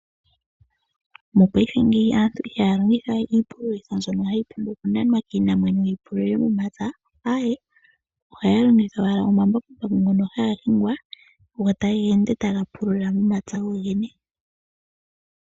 Mopaife ngeyi aantu ihaya longithawe iipululitho mbyono hayi pumbwa okunanwa kiinamwenyo yi pulule momapya aye ohaya longitha owala omambakumbaku ngono haga hingwa go taga ende taga pulula momapya go gene.